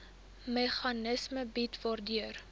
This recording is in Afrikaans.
meganisme bied waardeur